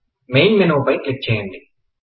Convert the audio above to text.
main menu పై click చేయండి